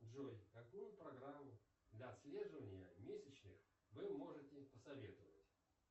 джой какую программу для отслеживания месячных вы можете посоветовать